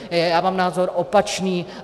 Já mám názor opačný.